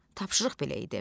Tapşırıq belə idi: